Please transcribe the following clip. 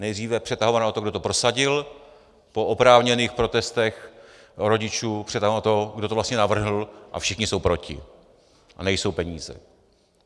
Nejdříve přetahovaná o to, kdo to prosadil, po oprávněných protestech rodičů přetahovaná o to, kdo to vlastně navrhl, a všichni jsou proti a nejsou peníze.